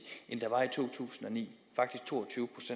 end i to tusind og ni faktisk to